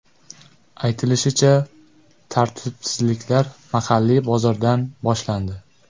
Aytilishicha, tartibsizliklar mahalliy bozordan boshlandi.